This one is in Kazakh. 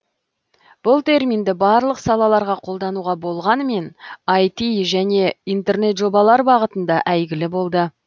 бұл терминді барлық салаларға қолдануға болғанмен айти және интернет жобалар бағытында әйгілі болды